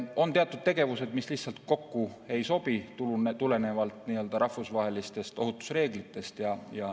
On teatud tegevused, mis lihtsalt ei sobi kokku, tulenevalt rahvusvahelistest ohutusreeglitest.